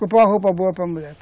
Comprar uma roupa boa para mulher.